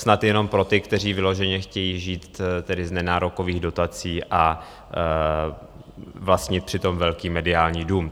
Snad jenom pro ty, kteří vyloženě chtějí žít tedy z nenárokových dotací a vlastnit přitom velký mediální dům.